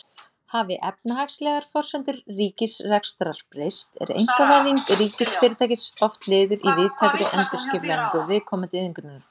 Hafi efnahagslegar forsendur ríkisrekstrar breyst er einkavæðing ríkisfyrirtækis oft liður í víðtækri endurskipulagningu viðkomandi iðngreinar.